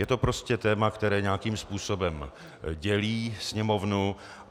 Je to prostě téma, které nějakým způsobem dělí Sněmovnu.